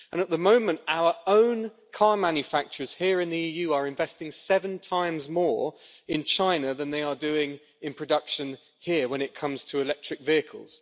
At the moment our own car manufacturers here in the EU are investing seven times more in China than they are doing in production here when it comes to electric vehicles.